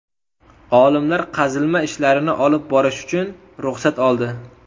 Olimlar qazilma ishlarini olib borish uchun ruxsat oldi.